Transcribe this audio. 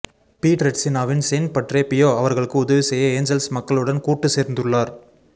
பீட்ரெட்சினாவின் Saint Padre Pio அவர்களுக்கு உதவி செய்ய ஏஞ்சல்ஸ் மக்களுடன் கூட்டுசேர்ந்துள்ளார்